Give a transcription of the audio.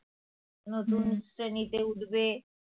নতুন শ্রেণীতে উঠবে